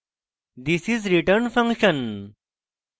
this is return function